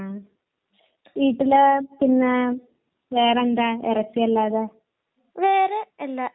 അപ്പൊ എന്തായാലും നല്ല കാര്യങ്ങളാണ് ആൻസി എനിക്ക് പറഞ്ഞു തന്നത് കേട്ടോ ഭക്ഷണ രീതിയെക്കുറിച്ച്